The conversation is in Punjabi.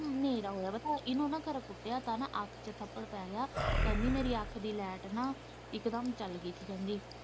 ਹਨ੍ਹੇਰਾ ਹੋਇਆ ਪਤਾ ਇਹਨੂੰ ਨਾ ਖੋਰੇ ਕੁੱਟਿਆ ਪਤਾ ਅੱਖ ਚ ਥੱਪੜ ਪੈ ਗਿਆ ਕਹਿੰਦੀ ਮੇਰੀ ਅੱਖ ਦੀ ਲਾਇਟ ਨਾ ਇੱਕਦਮ ਚੱਲ ਗਈ ਸੀ ਕਹਿੰਦੀ ਮੈਂ ਤਾਂ ਉਹਨੂੰ ਇਹੀ ਬੋਲਿਆ ਮੈਂ ਕਿਸੇ ਵਕੀਲ ਦੀ ਸਲਾਹ ਲੈ ਜੇ ਉੱਥੇ ਜਾਣਾ।